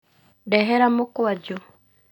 Ndehera mũkwanju